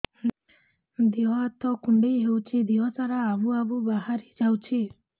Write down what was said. ଦିହ ହାତ କୁଣ୍ଡେଇ ହଉଛି ଦିହ ସାରା ଆବୁ ଆବୁ ବାହାରି ଯାଉଛି